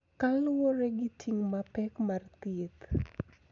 Kaluwore gi ting' mapek mar thieth.